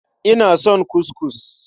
Ina son kuskus.